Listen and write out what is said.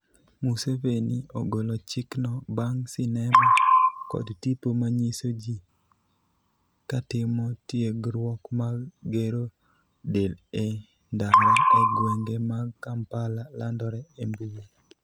Museveni ogolo chik no bang' sinema kod tipo manyiso ji katimo tiegruok mag gero del e ndara e gwenge mag Kampala, landore e mbui